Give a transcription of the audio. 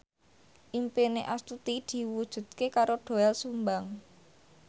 impine Astuti diwujudke karo Doel Sumbang